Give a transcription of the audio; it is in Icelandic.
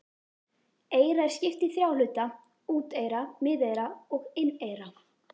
Eyra er skipt í þrjá hluta: úteyra, miðeyra og inneyra.